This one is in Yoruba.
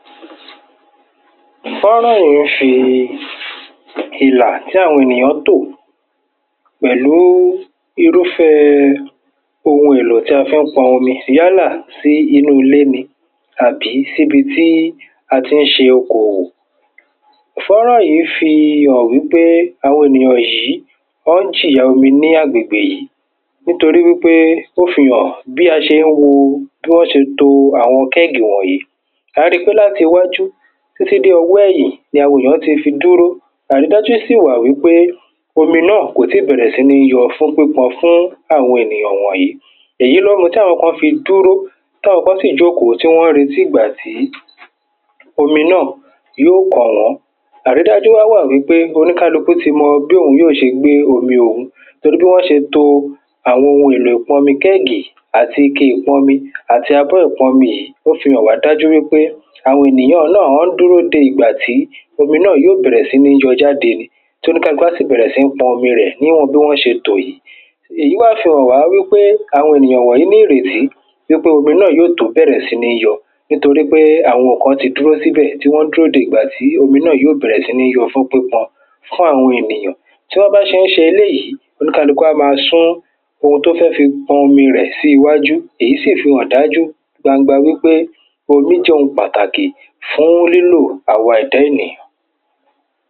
Fó̩nrán yí ń ṣe ìlà tí àwọn ènìyàn tò. Pẹ̀lú irúfẹ́ ohun èlò tí a fí ń pọn omi. Yálà sí inú ilé ni àbí síbi tí a tí ń ṣe okò òwò. Fó̩nrán yí fi hàn wípé àwọn ènìyàn yí wọ́n ń jìyà omi ní agbègbè yí. Nítorí wípé ó fi hàn bí a se ń wo bí wọ́n se to àwọn keg wọ̀nyí. À á ri pé láti iwájú títí dé ọwọ́ ẹ̀yìn ni àwọn èyàn ti fi dúró. Àrídájú sì wà wípé omi náà kò tí bẹ̀rẹ̀ sí ní yọ fún pípọn fún àwọn ènìyàn wọ̀nyí. Èyí ló mu tí àwọn kan fi dúró. Táwọn kan sì jòkó tí wọ́n ń retí ìgbà tí omi náà yó kàn wó̩n. Àrídájú wá wà wípé oníkálukú ti mọ bí òun yó se gbé omi òun. Torí bí wọ́n se to àwọn ohun èlò iàpọnmi kẹ́gì àti ike ìpọnmi, ó fi hàn wá dájú pé àwọn ènìyàn náà ń dúró de ìgbà t́ omi náà yó bẹ̀rẹ̀ sí ní yọ jáde. Tí oníkálukú ó sì bẹ̀rẹ̀ sí ń pọn omi rẹ̀ níwọ̀n bí wọ́n se tò yí. Èyí wá fi hàn wá wípé àwọn ènìyàn wọ̀nyí ní ìrètí wípé omi yó tún bẹ̀rẹ̀ sí ní yọ. Nítorípé àwọn kán ti dúró síbẹ̀ tí wọ́n dúró di ìgbà tí omi náà yó bẹ̀rẹ̀ sí ní yọ fún pípọn. Kán àwọn ènìyàn. Tí wọ́n bá se ń ṣe eléyí, oníkálukú á má a sún ohun tó fẹ́ fi pọn omi sí iwájú. Èyí sì fi hàn dájú gbangba wípé omí jẹ́ ohun pàtàkì fún lílò àwa ẹ̀dá ènìyàn.